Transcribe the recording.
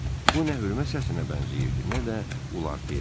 Bu nə hörmət səsinə bənzəyirdi, nə də Uartiyə.